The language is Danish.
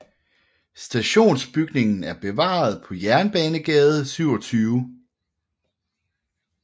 Stationsbygningen er bevaret på Jernbanegade 27